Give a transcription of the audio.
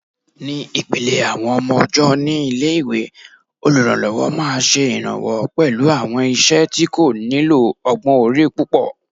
Ní ìpìlẹ̀ àwọn ọmọ ọ̀jọ́ ní ilé-ìwé, olùrànlọ́wọ́ máa ṣe ìrànwọ́ pẹ̀lú àwọn iṣẹ́ tí kò nílò ọgbọ́n orí púpọ̀